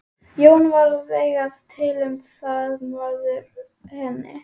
Jón varð að segja til um það, maður hennar.